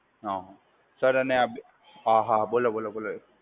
હા સર અને આ હા હા બોલો બોલો બોલો એ